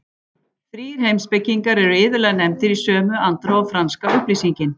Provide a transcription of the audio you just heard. Þrír heimspekingar eru iðulega nefndir í sömu andrá og franska upplýsingin.